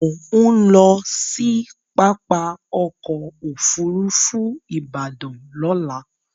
Mò ń lọ sí pápá ọkọ̀ Òfurufú Ìbàdàn lọ́la